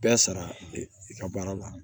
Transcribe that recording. Bɛɛ sara i ka baara la